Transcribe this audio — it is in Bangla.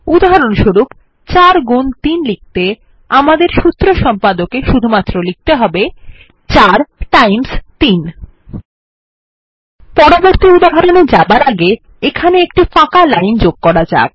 উদাহরণস্বরূপ ৪ গুন ৩ লিখতে আমাদের সূত্র সম্পদকে শুধুমাত্র লিখতে হবে ৪ টাইমস ৩ পরবর্তী উদাহরণে যাবার আগে এখানে একটি ফাঁকা লাইন যোগ করা যাক